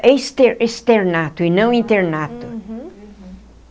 É exter externato e não internato. Uhum.